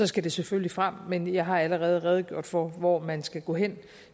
skal det selvfølgelig frem men jeg har allerede redegjort for hvor man skal gå hen